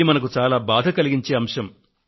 ఇది మనకు చాలా బాధ కలిగించే అంశం